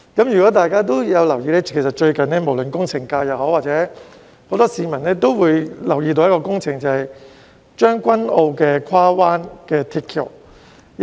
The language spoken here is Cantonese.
如果大家有留意，最近無論工程界或很多市民也留意到將軍澳的跨灣大橋工程。